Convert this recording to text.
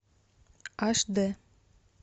аш д